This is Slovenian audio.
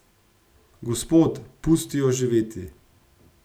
Gospod, pusti jo živeti.